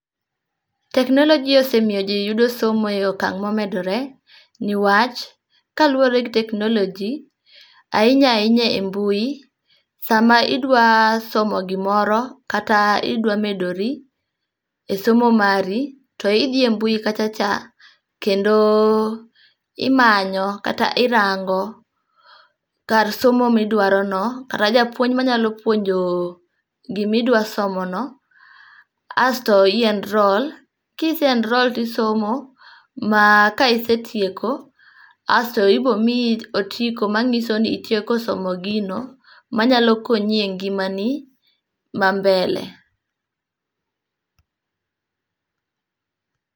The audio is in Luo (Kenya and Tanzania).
Technology osemiyo jii yudo somo e okang' momedore niwach, kaluwore gi technology ahinya ahinya a mbui sama idwa idwa somo gimoro kata idwa medori, e somo mari to idhi e mbui kacha cha kendo imanyo kata irango kar somo midwaro no kata japuonj manyalo puonjo gimi dwa somo no asto i enroll. Kise enrol tisomo ma ka isetieko asto ibo miyi otiko manyiso ni itieko somo gino manyalo konyi e ngimani ma mbele